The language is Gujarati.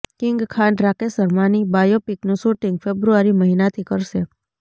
કિંગ ખાન રાકેશ શર્માની બાયોપિકનું શૂટિંગ ફેબ્રુઆરી મહિનાથી કરશે